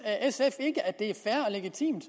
sf ikke at det er fair og legitimt